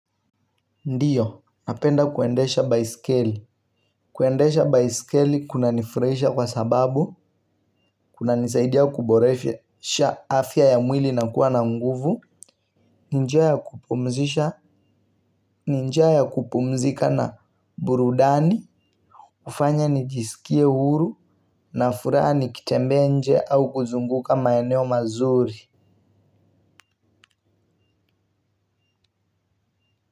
Ndiyo, napenda kuendesha baisikeli. Kuendesha baiskeli kuna nifurahisha kwa sababu, kuna nisaidia kuboresha afya ya mwili na kuwa na nguvu. Ni njia ya kupumzisha. Ni njia ya kupumzika na burudani hufanya nijisikie huru na furaha nikitembea nje au kuzunguka maeneo mazuri.